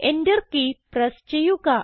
Enter key press ചെയ്യുക